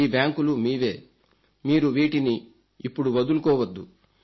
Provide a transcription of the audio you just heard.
ఈ బ్యాంకులు మీవే మీరు వీటిని ఇప్పుడు వదులుకోవద్దు